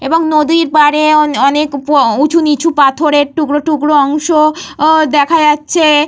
এবং নদীর পারে অনেক উঁচুনিচু পাথরের টুকরো টুকরো অংশ আহঃ দেখা যাচ্ছে।